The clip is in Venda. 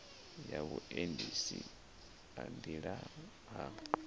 ya vhuendisi ha nḓilani ha